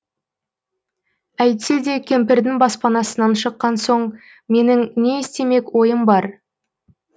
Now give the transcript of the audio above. әйтсе де кемпірдің баспанасынан шыққан соң менің не істемек ойым бар